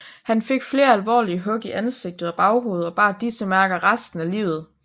Han fik flere alvorlige hug i ansigt og baghoved og bar disse mærker resten af livet